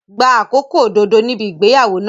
Gba àkókò òdodo níbi ìgbéyàwó náà.